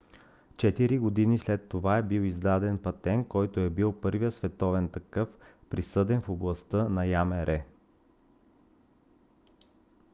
четири години след това е бил издаден патент който е бил първият световен такъв присъден в областта на ямр